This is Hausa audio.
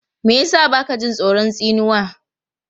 Me ya sa ba ka jin tsoron tsinuwa?